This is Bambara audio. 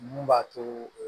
Mun b'a to